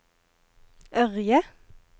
Ørje